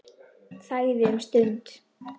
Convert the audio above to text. Þagði um stund.